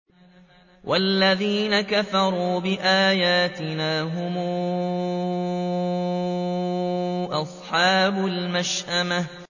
وَالَّذِينَ كَفَرُوا بِآيَاتِنَا هُمْ أَصْحَابُ الْمَشْأَمَةِ